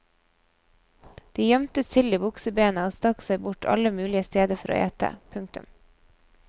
De gjømte sild i buksebena og stakk seg bort alle mulige steder for å ete. punktum